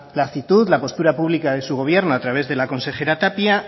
la actitud la postura pública de su gobierno a través de la consejera tapia